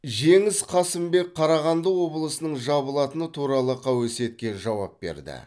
жеңіс қасымбек қарағанды облысының жабылатыны туралы қауесетке жауап берді